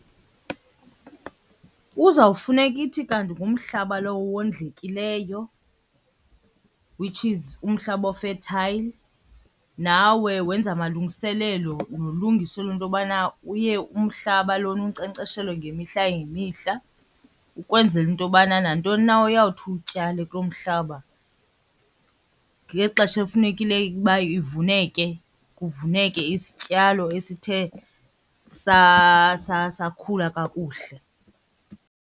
Kuzawufuneka ithi kanti ngumhlaba lowo owondlekileyo which is umhlaba o-fertile. Nawe wenze amalungiselelo nolungiselelo lento yobana uye umhlaba lona unkcenkceshelwe ngemihla ngemihla ukwenzela into yobana nantoni na oyawuthi uyityale kuloo mhlaba ngexesha ekufunekile ukuba ivuneke kuvuneke isityalo esithe sakhula kakuhle.